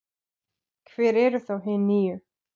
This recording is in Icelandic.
Hver eru þá hin níu?